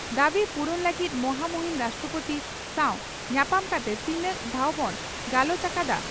ᱫᱟᱵᱤ ᱯᱩᱨᱩᱱ ᱞᱟᱹᱜᱤᱫ ᱢᱚᱦᱟᱢᱩᱦᱤᱱ ᱨᱟᱥᱴᱨᱚᱯᱳᱛᱤ ᱥᱟᱣ ᱧᱟᱯᱟᱢ ᱠᱟᱛᱮ ᱛᱤᱱᱟᱝ ᱫᱷᱟᱣ ᱵᱚᱱ ᱜᱟᱞᱚᱪ ᱟᱠᱟᱫᱼᱟ?